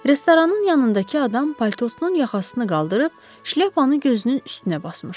Restoranın yanındakı adam paltosunun yaxasını qaldırıb şlyapasını gözünün üstünə basmışdı.